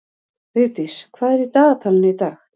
Vigdís, hvað er í dagatalinu í dag?